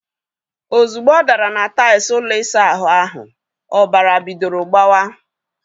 Ozugbo ọ dara na tails ụlọ isa ahụ ahu, ọbara bidoro gbawa